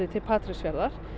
til Patreksfjarðar